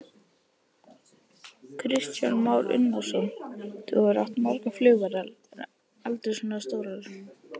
Kristján Már Unnarsson: Þú hefur átt margar flugvélar, en aldrei svona stórar?